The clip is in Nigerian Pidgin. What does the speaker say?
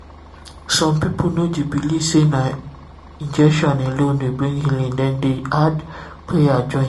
some people no dey believe say na injection alone dey bring healing dem need prayer join.